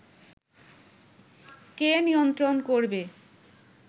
কে নিয়ন্ত্রণ করবে